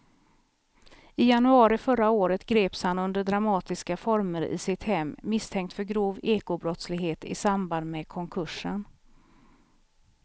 I januari förra året greps han under dramatiska former i sitt hem misstänkt för grov ekobrottslighet i samband med konkursen.